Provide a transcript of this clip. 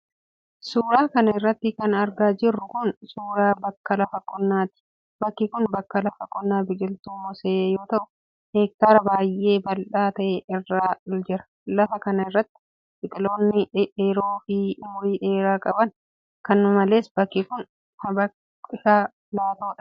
Suura kana irratti kan argaa jirru kun ,suura bakka lafa qonnaati. Bakki kun bakka lafa qonnaa biqiltuu moosee yoo ta'u. heektaara baay'ee bal'aa ta'e irra jira. Lafa kana irra biqiloonni dhedheeroo fi umurii dheeraa qaban kana malees bakki kun lfa pilaatoodha.